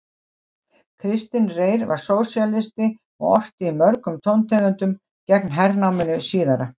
Kristinn Reyr var sósíalisti og orti í mörgum tóntegundum gegn hernáminu síðara.